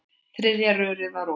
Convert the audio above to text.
Þriðja rörið var opið.